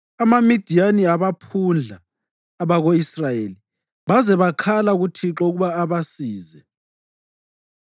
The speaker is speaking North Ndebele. AmaMidiyani abaphundla abako-Israyeli baze bakhala kuThixo ukuba abasize.